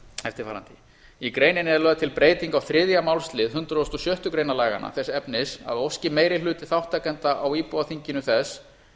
eftirfarandi í greininni er lögð til breyting á þriðja málsl hundrað og sjöttu grein laganna þess efnis að óski meiri hluti þátttakenda á íbúaþinginu þess